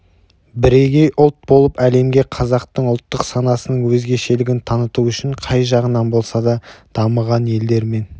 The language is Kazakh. бірегей ұлт болып әлемге қазақтың ұлттық санасының өзгешелігін таныту үшін қай жағынан болса да дамыған елдермен